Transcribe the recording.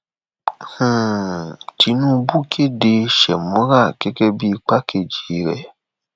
um tinúbú kéde shemora gẹgẹ bíi igbákejì rẹ